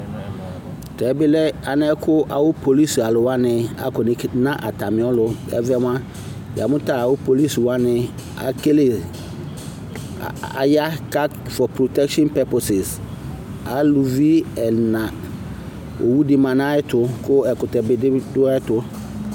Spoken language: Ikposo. Tɛ bi lɛ ɛlɛ kʋ awʋ polisi alʋ wani akɔ n'eklidʋ n'alʋ Ɛvɛ mua, ya mʋ ta awʋ polisi wani akele a a ya for prɔtɛkshin purposes Alʋvi ɛna, owu di ma n'ayɛtʋ kʋ ɛkʋtɛ bi dʋ ayɛtʋ